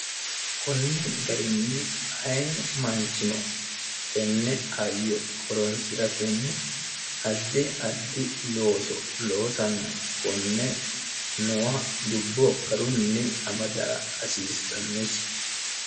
kunni garinni aye maanchino tenne ayyo horonsi'ra tenni addi addi looso loosanna konne noa dubbo garunni amadaa hasiissannosi